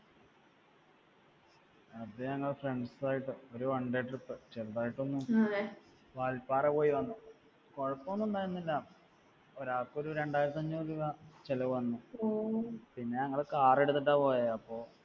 അത് ഞങ്ങൾ friends ആയിട്ട് ഒരു one day trip ചെറുതായിട്ടൊന്ന് വാൽപ്പാറ പോയിവന്നു. കുഴപ്പമൊന്നുമുണ്ടായിരുന്നില്ല. ഒരാൾക്ക് ഒരു രണ്ടായിരത്തിഅഞ്ഞൂറ് രൂപ ചെലവ് വന്നു. പിന്നെ ഞങ്ങൾ car എടുത്തിട്ടാ പോയെ അപ്പൊ